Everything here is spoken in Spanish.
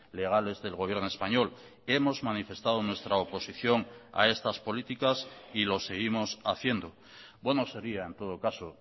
legales del gobierno español hemos manifestado nuestra oposición a estas políticas y lo seguimos haciendo bueno sería en todo caso